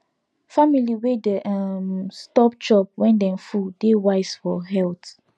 family wey dey um stop chop when dem full dey wise for health